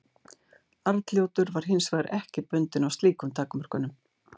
Arnljótur var hins vegar ekki bundinn af slíkum takmörkunum.